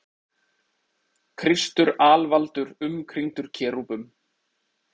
Kristur alvaldur umkringdur kerúbum.